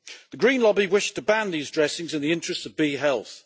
The Green lobby wish to ban these dressings in the interest of bee health.